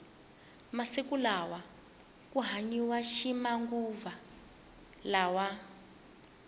masiku lawa ku hanyiwa ximanguva lawa